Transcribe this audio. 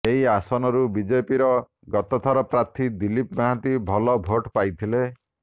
ଏହି ଆସନରୁ ବିଜେପିର ଗତ ଥରର ପ୍ରାର୍ଥୀ ଦିଲୀପ ମହାନ୍ତି ଭଲ ଭୋଟ୍ ପାଇଥିଲେ